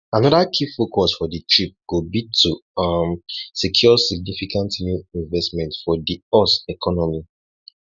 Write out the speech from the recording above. anoda key focus of di trip go be to um secure significant new investment for di us economy